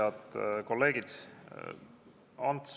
Head kolleegid!